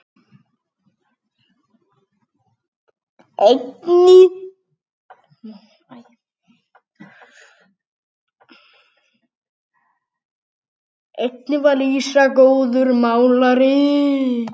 Einnig var Lísa góður málari.